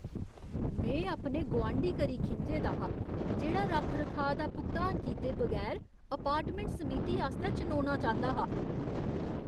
में अपने गुआंढी करी खिंझे दा हा, जेह्ड़ा रक्ख रखाऽ दा भुगतान कीते बगैर अपार्टमैंट समिति आस्तै चुनोना चांह्दा हा।